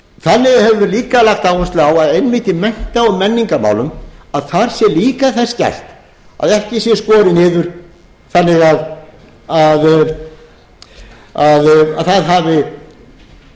við líka lagt áherslu á að einmitt í mennta og menningarmálum að þar sé líka þess gætt að ekki sé skorið niður þannig að það hafi